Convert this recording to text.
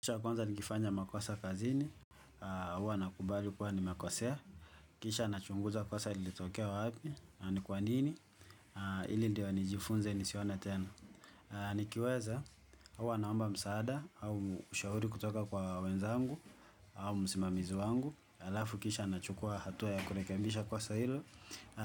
Kitu cha kwanza, nikifanya makosa kazini, huwa nakubali kuwa nimekosea. Kisha nachunguza kosa lilitokea wa wapi, na ni kwa nini, ili ndio nijifunze nisione tena. Nikiweza, huwa naomba msaada, au ushahuri kutoka kwa wenzangu, au msimamizi wangu. Alafu kisha nachukua hatua ya kurekebisha kosa hilo.